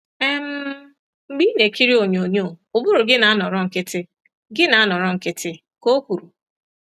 um “Mgbe ị na-ekiri onyonyo, ụbụrụ gị na-anọrọ nkịtị,” gị na-anọrọ nkịtị,” ka O kwuru.